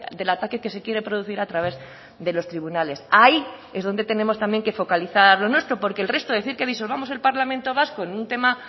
del ataque que se quiere producir a través de los tribunales ahí es donde tenemos también que focalizar lo nuestro porque el resto decir que disolvamos el parlamento vasco en un tema